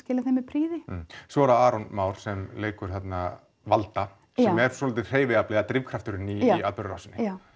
skila því með prýði já svo er það Aron Már sem leikur þarna valda sem er svolítið drifkrafturinn í atburðarásinni já